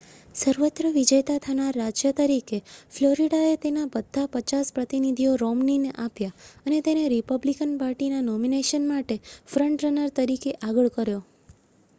સર્વત્ર વિજેતા થનાર રાજ્ય તરીકે ફ્લોરિડાએ તેના બધાં પચાસ પ્રતિનિધિઓ રોમ્નીને આપ્યાં અને તેને રિપબ્લિકન પાર્ટીના નોમિનેશન માટે ફ્રન્ટ રનર તરીકે આગળ કર્યો